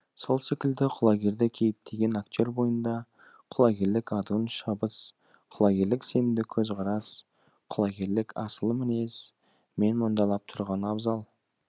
сол секілді құлагерді кейіптеген актер бойында құлагерлік адуын шабыс құлагерлік сенімді көзқарас құлагерлік асыл мінез менмұндалап тұрғаны абзал